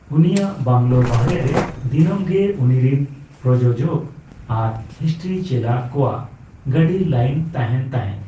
ᱩᱱᱤᱭᱟᱜ ᱵᱟᱝᱞᱳ ᱵᱟᱦᱨᱮ ᱨᱮ ᱫᱤᱱᱟᱹᱢ ᱜᱮ ᱩᱱᱤᱨᱮᱱ ᱯᱨᱚᱡᱳᱡᱚᱠ ᱟᱨ ᱦᱤᱥᱴᱤᱨᱤ ᱪᱮᱞᱟ ᱠᱚᱣᱟᱜ ᱜᱟᱹᱰᱤ ᱞᱟᱭᱤᱱ ᱛᱟᱦᱮᱱ ᱛᱟᱦᱮᱫ ᱾